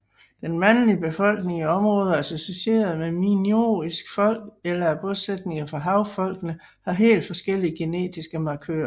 Den mandlige befolkning i områder associeret med minoisk folk eller af bosætninger fra havfolkene har helt forskellige genetiske markører